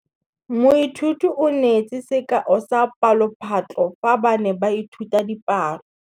Moithuti o neetse sekaô sa palophatlo fa ba ne ba ithuta dipalo.